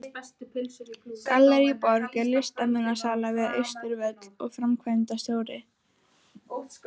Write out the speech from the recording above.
Gallerí Borg er listmunasala við Austurvöll og framkvæmdastjóri er